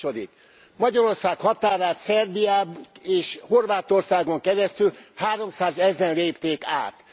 A második magyarország határát Szerbián és Horvátországon keresztül háromszázezren lépték át.